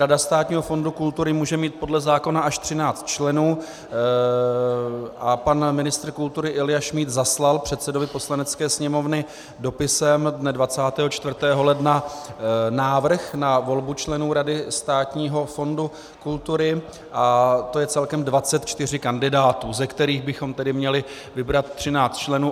Rada Státního fondu kultury může mít podle zákona až 13 členů a pan ministr kultury Ilja Šmíd zaslal předsedovi Poslanecké sněmovny dopisem dne 24. ledna návrh na volbu členů rady Státního fondu kultury a to je celkem 24 kandidátů, ze kterých bychom tedy měli vybrat 13 členů.